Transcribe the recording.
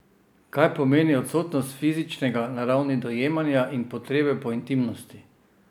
Kaj pomeni odsotnost fizičnega na ravni dojemanja in potrebe po intimnosti?